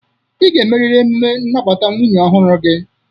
Ị ga-emeriri emume nnabata nwunye ọhụrụ gị.